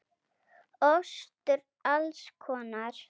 Ostur alls konar.